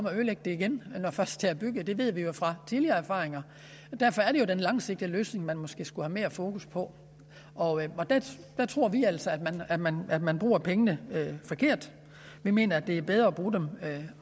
at ødelægge det igen når først det er bygget det ved vi fra tidligere erfaringer og derfor er det jo den langsigtede løsning man måske skulle have mere fokus på og der tror vi altså at man at man bruger pengene forkert vi mener at det er bedre at bruge dem